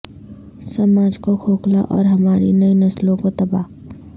سماج کو کھوکھلا اور ہماری نئی نسلوں کو تباہ